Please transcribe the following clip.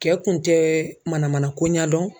Cɛ kun tɛ mana manako ɲɛ dɔn.